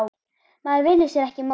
Maður velur sér ekki móður.